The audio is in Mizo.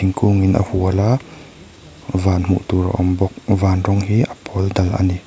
thingkungin a hual a van hmuh tur a awm bawk van rawng hi a pawl dal a ni.